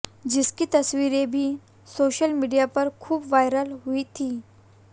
जिसकी तस्वीरें भी सोशल मीडिया पर खूब वायरल हुई थी